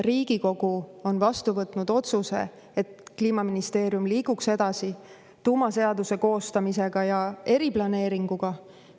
Riigikogu on vastu võtnud otsuse, et Kliimaministeerium liiguks edasi tuumaseaduse koostamisega ja eriplaneeringuga.